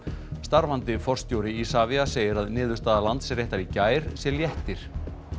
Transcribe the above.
starfandi forstjóri Isavia segir að niðurstaða Landsréttar í gær sé léttir